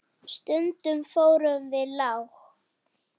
Stundum fórum við langt.